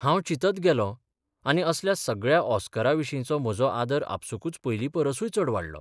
हांव चिंतत गेलों आनी असल्या सगळ्या ऑस्करा विशींचो म्हजो आदर आपसूकच पयलींपरसूय चड वाडलो....